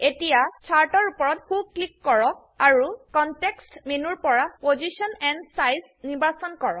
এতিয়া চাৰ্ট এৰ উপৰত সো ক্লিক কৰক আৰু কনটেক্সট মেনুৰপৰা পজিশ্যন এণ্ড চাইজ নিৰ্বাচন কৰক